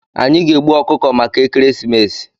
Anyị ga-egbu ọkụkọ maka ekeresimesi.